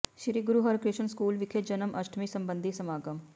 ਸ੍ਰੀ Guru Harkrishan school ਵਿਖੇ ਜਨਮ ਅਸ਼ਟਮੀ ਸਬੰਧੀ ਸਮਾਗਮ